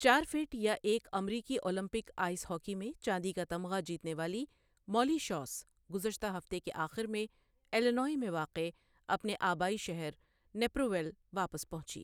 چار فٹ یا ایک امریکی اولمپک آئس ہاکی میں چاندی کا تمغہ جیتنے والی مولی شوس گزشتہ ہفتے کے آخر میں الینوائے میں واقع اپنے آبائی شہر نیپر ویل واپس پہنچی۔